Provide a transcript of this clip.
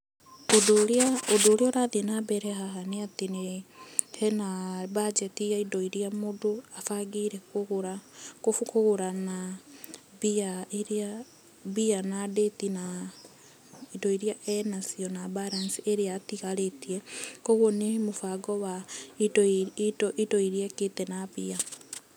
Ũndũ ũrĩa ũrathiĩ na mbere haha nĩ atĩ hena budget ya indo iria mũndũ abangĩire kũgũra na mbia iria, na mbia na date na indo iria enacio, na balance irĩa ĩtigarĩtie. Koguo ni mũbango wa indo iria ekĩte na mbia.